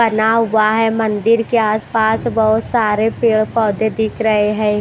बना हुआ है मंदिर के आसपास बहुत सारे पेड़ पौधे दिख रहे हैं।